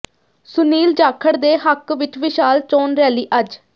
ਸੁਨੀਲ ਜਾਖੜ ਦੇ ਹੱਕ ਵਿਚ ਵਿਸ਼ਾਲ ਚੋਣ ਰੈਲੀ ਅੱਜ